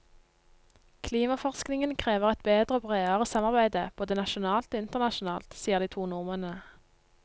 Klimaforskningen krever et bedre og bredere samarbeide, både nasjonalt og internasjonalt, sier de to nordmennene.